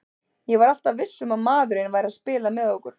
Ég var alltaf viss um að maðurinn væri að spila með okkur.